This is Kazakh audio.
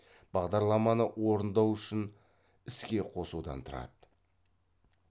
бағдарламаны орындау үшін іске қосудан тұрады